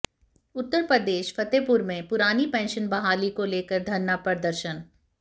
उत्तर प्रदेशः फतेहपुर में पुरानी पेंशन बहाली को लेकर धरना प्रदर्शन